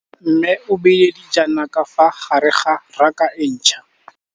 Mmê o beile dijana ka fa gare ga raka e ntšha.